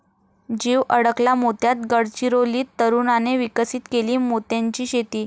जीव अडकला मोत्यात, गडचिरोलीत तरुणाने विकसित केली मोत्यांची शेती!